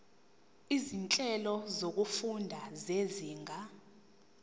izinhlelo zokufunda zezinga